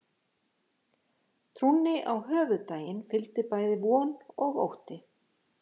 Trúnni á höfuðdaginn fylgdi bæði von og ótti.